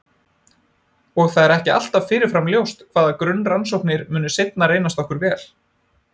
Og það er ekki alltaf fyrirfram ljóst hvaða grunnrannsóknir munu seinna reynast okkur vel.